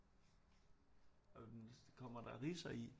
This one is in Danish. Kommer der ridser i